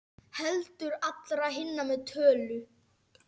Heldur allra hinna með tölu.